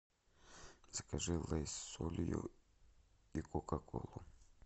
закажи лейс с солью и кока колу